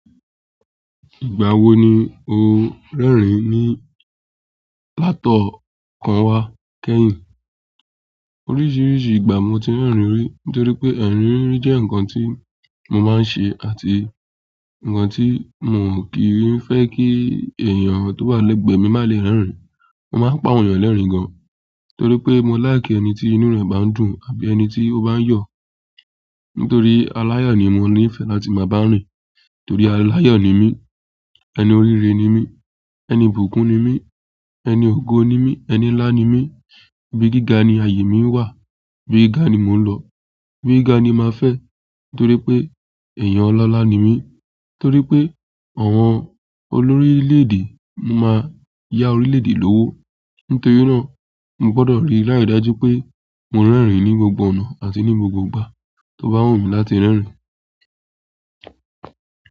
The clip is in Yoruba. Ìgbà wo ni o ń rẹ́rìn-ín ní látọ̀kàn ewá kẹ́yìn? Oríṣiríṣi ìgbà mo ti ń rẹ́rìn-ín rí nítorí pé rẹ́rìn-ín rí jẹ́ ǹkan tí mo máa ń ṣe àti ǹkan tí mo kì í fẹ́ kí èèyàn tó wà lẹ́gbẹ̀ẹ́ mi má le rẹ́rìn-ín. Mo máa ń pa àwọn èèyàn lẹ́rìn-ín gan torí pé mo like ẹni tí inú rẹ̀ bá ń dùn àbí ẹni tí ó bá ń yọ̀. Nítorí aláyọ̀ ni mo ní ìfẹ́ láti máa bá ń rìn. Torí aláyọ̀ ni mí, ẹni orire ni mí, ẹni ibùkún ni mí, ẹni ògo ni mí, ẹni ńlá ni mí, ibi gíga ni ayé mi wà, ibi gíga ni mo ń lọ, ẹni gíga ni màá fẹ́ nítorí pé èèyàn ọlọ́lá ni mí. Torí pé àwọn olórí orílè-èdè, mo máa yá orílè-èdè lówó. Nítorí náà, mo gbọdọ̀ rí lári dájú pé mo rẹ́rìn-ín ní gbogbo ọ̀nà àti ní gbogbo ìgbà tó bá wù mí láti rẹ́rìn-ín.